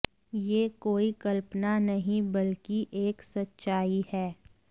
यह कोई कल्पना नही बल्कि एक सच्चाई है